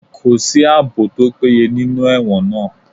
Kò sí àbò tó péye nínú ẹ̀wọ̀n náà